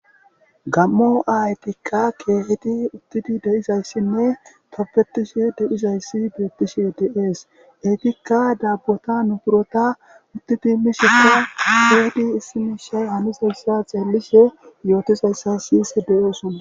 gammo ayetikka keehedi uttidi de7izayssinne topetishe deizayssi biyettishe deees etikka daabbota nu burota utti timisheka aheedi issimishay hanizayssa xeellishe yootizayssa siyise de7osona